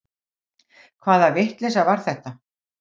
Hvaða vitleysa var þetta?